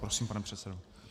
Prosím, pane předsedo.